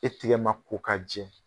E tigɛ ma ko ka jɛ.